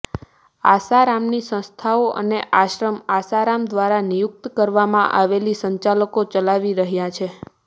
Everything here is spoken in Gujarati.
આસારામની સંસ્થાઓ અને આશ્રમ આસારામ દ્વારા નિયુક્ત કરવામાં આવેલા સંચાલકો ચલાવી રહ્યા છે